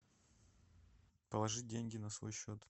положи деньги на свой счет